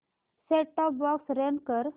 set top box run कर